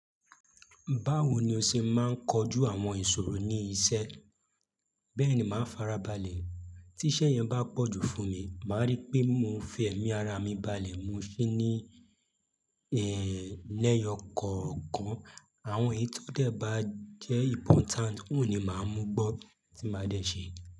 Báwo ni o ṣe máa ń kojú àwọn ìṣòro ní iṣẹ́? Bẹ́ẹ̀ni, màá farabalẹ̀. Tí iṣẹ́ yẹn bá pọ̀jù fún mi, màá rí pé mo fi ẹ̀mí ara mi balẹ̀. Mo se ní, lẹ́yọ kọ̀ọ̀kan. Àwọn èyí tó dẹ̀ bá jẹ́ important ohun ni màá mú gbọ́ tí màá dẹ̀ ṣe.